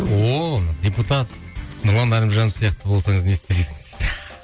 ооо депутат нұрлан әлімжанов сияқты болсаңыз не істер едіңіз дейді